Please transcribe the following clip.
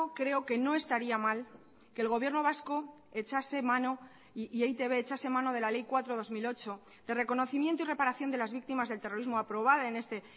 creo que no estaría mal que el gobierno vasco echase mano y e i te be echase mano de la ley cuatro barra dos mil ocho de reconocimiento y reparación de las víctimas del terrorismo aprobada en este